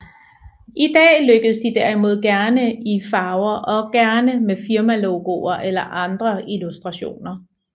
I dag trykkes de derimod gerne i farver og gerne med firmalogoer eller andre illustrationer